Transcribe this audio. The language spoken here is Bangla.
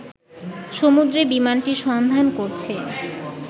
সমুদ্রে বিমানটির সন্ধান করছে